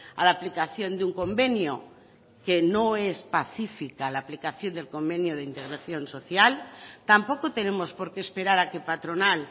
a la aplicación de un convenio que no es pacífica la aplicación del convenio de integración social tampoco tenemos porque esperar a que patronal